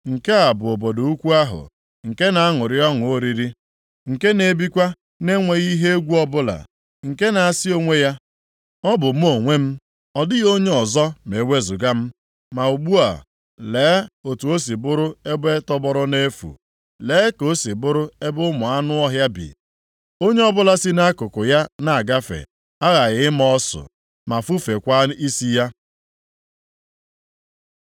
Nke a bụ obodo ukwu ahụ, nke na-aṅụrị ọṅụ oriri, nke na-ebikwa na-enweghị ihe egwu ọbụla; nke na-asị onwe ya, “Ọ bụ mụ onwe m! Ọ dịghị onye ọzọ ma ewezuga m.” Ma ugbu a, lee otu o si bụrụ ebe tọgbọrọ nʼefu; lee ka o si bụrụ ebe ụmụ anụ ọhịa bi. Onye ọbụla si nʼakụkụ ya na-agafe aghaghị ịma ọsụ, ma fufekwaa isi ya.